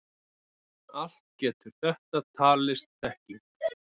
Allt getur þetta talist þekking.